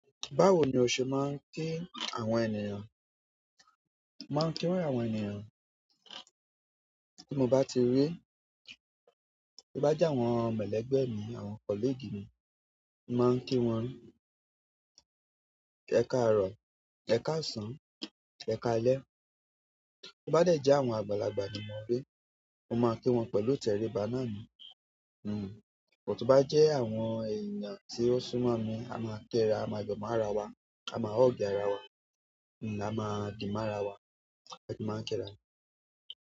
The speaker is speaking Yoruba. Báwo ni o ṣe máa ń kí àwọn ènìyàn? Màá ń kí wọn ni àwọn ènìyàn tí mo bá ti rí. To bá jẹ àwọn ẹlẹgbẹ mi àwọn colleague mi, mo máa ń kí wọn "Ẹkarọ, ẹkáàsán, ẹkáàlẹ́" bo bá jẹ́ àwọn àgbàlagbà ni mo rí, mo máa ń kí wọn pẹ̀lú tẹríba náà ni. Hmm, but tó bá jẹ́ àwọn èèyàn tí ó sún mọ́ mi, a máa ń kira, a máa yọ̀ máára wa, a máa hug ara wa, hmm a máa dìmára wa, a sì máa ń kẹ́ra ni.